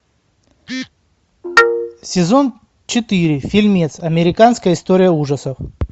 сезон четыре фильмец американская история ужасов